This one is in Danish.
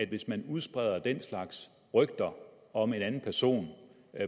hvis man udspreder den slags rygter om en anden person